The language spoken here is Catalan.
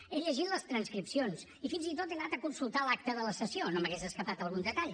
he llegit les transcripcions i fins i tot he anat a consultar l’acta de la sessió que no se m’hagués escapat algun detall